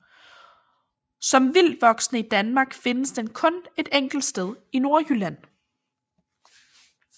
Som vildtvoksende i Danmark findes den kun et enkelt sted i Nordjylland